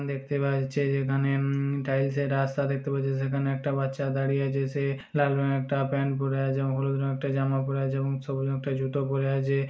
देखते बा एछे जे कने उम्म से रास्ता देखते पाछे जैसे कने एकटा बच्चा खड़ी है जैसे लाल रंग एकटा पैंट जूतों पुरो आछे।